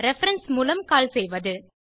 reference மூலம் call செய்வது